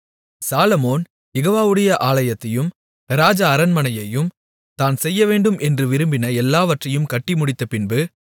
சாலொமோன் யெகோவாவுடைய ஆலயத்தையும் ராஜ அரண்மனையையும் தான் செய்யவேண்டும் என்று விரும்பின எல்லாவற்றையும் கட்டி முடித்தபின்பு